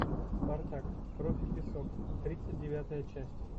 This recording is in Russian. спартак кровь и песок тридцать девятая часть